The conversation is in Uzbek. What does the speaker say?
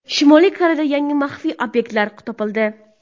Shimoliy Koreyada yangi maxfiy obyektlar topildi.